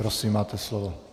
Prosím, máte slovo.